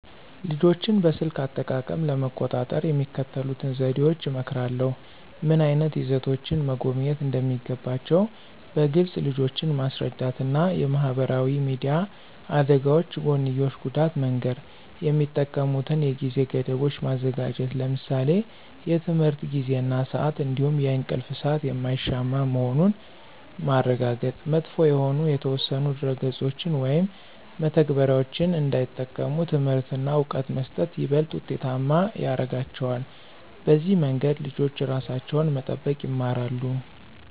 ልጆችን በስልክ አጠቃቀም ለመቆጣጠር የሚከተሉትን ዘዴዎች እመክራለሁ። ምን ዓይነት ይዘቶችን መጎብኘት እንደሚገባቸው በግልፅ ልጆችን ማስረዳት እና የማህበራዊ ሚዲያ አደጋዎች ጎንዮሽ ጉዳት መንገር። የሚጠቀሙበትን የጊዜ ገደቦች ማዘጋጀት ለምሳሌ የትምህርት ጊዜ እና ስአት እንዲሁም የእንቅልፍ ሰአት የማይሻማ መሆኑን ማረጋገጥ። መጥፎ የሆኑ የተወሰኑ ድረ-ገጾችን ወይም መተግበሪያዎችን እንዳይጠቀሙ ትምህርት እና እውቀት መስጠት ይበልጥ ውጤታማ ያረጋቸዋል። በዚህ መንገድ ልጆች ራሳቸውን መጠበቅ ይማራሉ።